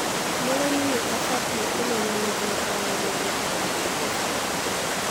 Mũrĩmi nĩ abatie kũmenya mĩthemba ya magetha ĩrĩa ĩbatie.